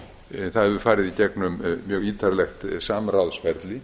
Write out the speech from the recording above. einnig það hefur farið í gegnum mjög ítarlegt samráðsferli